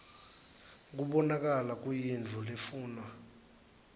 kubonakala kuyintfo lefunwa